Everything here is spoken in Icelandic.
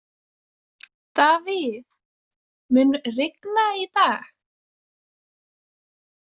Davíð, mun rigna í dag?